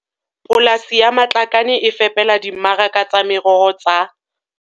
Polasi ya Matlakane e fepela dimmaraka tsa meroho tsa